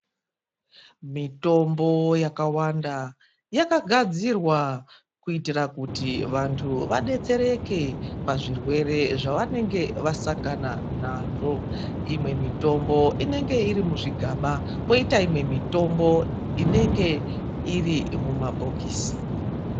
Mitombo yakawanda yakagadzirwa kuitira kuti vantu vadetsereke pazvirwere zvavanenge vasangana nazvo. Imwe mitombo inenge iri muzvigaba kwoita imwe mitombo inenge iri mumabhokisi.